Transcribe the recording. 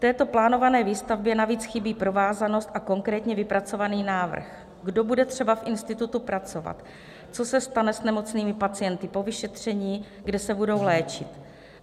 Této plánované výstavbě navíc chybí provázanost a konkrétně vypracovaný návrh, kdo bude třeba v institutu pracovat, co se stane s nemocnými pacienty po vyšetření, kde se budou léčit.